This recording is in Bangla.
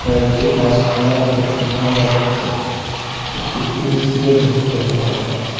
একটি গাসপালাও দেখতে পাওয়া যাচ্ছে একটি পিএইচইও দেখতে পাওয়া যাচ্ছে।